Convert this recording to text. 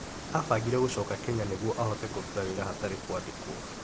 Abangire gũcoka Kenya nĩguo ahote kũruta wĩra hatarĩ kwandĩkwo.